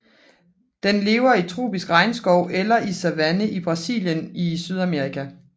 Den lever i tropisk regnskov eller savanne i Brasilien i Sydamerika